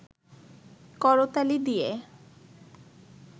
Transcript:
করতালি দিয়ে